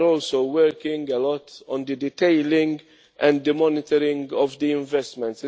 We are also working a lot on the detailing and the monitoring of the investments.